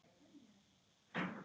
Henda honum?